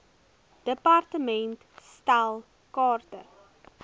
department stel kaarte